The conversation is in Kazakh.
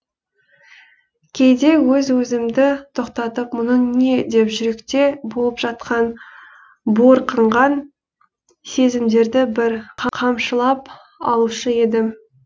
кейде өз өзімді тоқтатып мұның не деп жүректе болып жатқан буырқанған сезімдерді бір қамшылап алушы едім